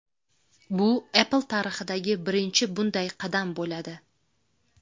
Bu Apple tarixidagi birinchi bunday qadam bo‘ladi.